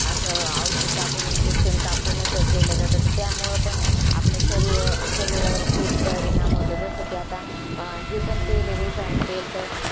अस औषध टाकून injection टाकूनच केले जात त्यामूळ पण आपल्या शरीर~ शरीरावर खूप परिणाम होतो जसा कि आता जे पण तेल आहे refined तेल त